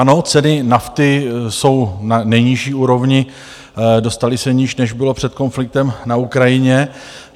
Ano, ceny nafty jsou na nejnižší úrovni, dostaly se níž, než bylo před konfliktem na Ukrajině.